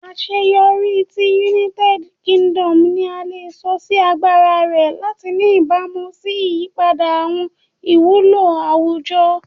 Aṣeyọri ti United Kingdom ni a le sọ si agbara rẹ lati ni ibamu si iyipada awọn iwulo awujọ